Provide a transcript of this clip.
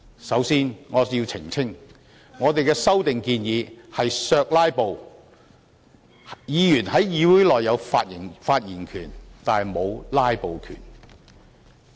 首先，我要澄清，我們的修訂建議是"削'拉布'"，議員在議會內有發言權但沒有"'拉布'權"。